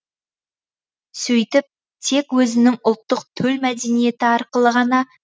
сөйтіп тек өзінің ұлттық төл мәдениеті арқылы ғана